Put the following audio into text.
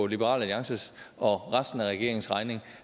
liberal alliances og resten af regeringens regning